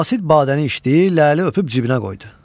Qasid badəni içdi, ləli öpüb cibinə qoydu.